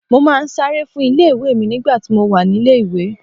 Mo máa ń sáré fún ilé ìwé mi nígbà tí mo wà nílé ìwé.